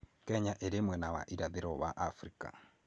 Kenya ĩrĩ mwena wa irathĩro wa Afrika.